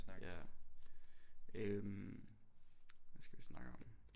Ja øh hvad skal vi snakke om